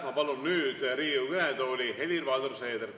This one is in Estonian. Ma palun nüüd Riigikogu kõnetooli Helir-Valdor Seederi.